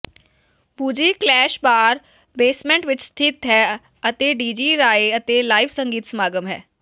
ਬੁਜੀ ਕਲੈਸ਼ bar basement ਵਿੱਚ ਸਥਿਤ ਹੈ ਅਤੇ ਡੀਜੀ ਰਾਏ ਅਤੇ ਲਾਈਵ ਸੰਗੀਤ ਸਮਾਗਮ ਹੈ